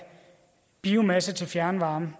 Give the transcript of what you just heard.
biomasse til fjernvarme